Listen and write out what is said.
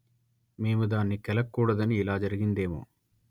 మేము దాన్ని కెలక్కూడదని ఇలా జరిగిందేమో